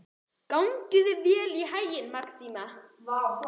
Gangi þér allt í haginn, Maxima.